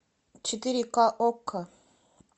четыре ка окко